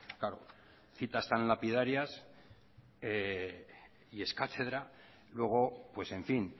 citas tan lapidarias y es cátedra luego pues en fin